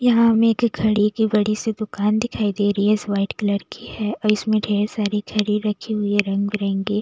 यहाँ हमें एक घड़ी की बड़ी सी दुकान दिखाई दे रही है इस वाइट कलर की है और इसमें ढेर सारी घड़ी रखी हुई है रंग-बिरंगी --